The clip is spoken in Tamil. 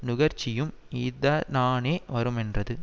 நுகர்ச்சியும் இதனானே வருமென்றது